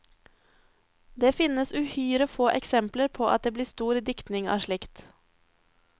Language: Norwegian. Det finnes uhyre få eksempler på at det blir stor diktning av slikt.